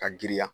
Ka giriya